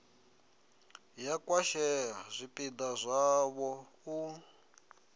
ya khwashea zwipida zwavho u